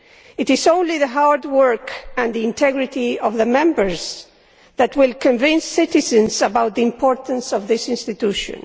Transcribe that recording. It is only the hard work and the integrity of the Members which will convince citizens of the importance of this institution.